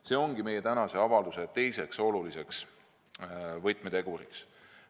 See ongi meie tänase avalduse teiseks oluliseks võtmeteguriks.